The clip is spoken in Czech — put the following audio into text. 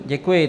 Děkuji.